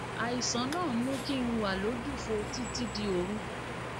àìsàn náà ń mú kí n wà lójúfò títí di òru